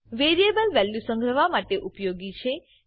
variable value સંગ્રહવા માટે ઉપયોગી છે